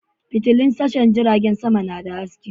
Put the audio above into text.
Fitulun tashar jiragen sama suna da haske.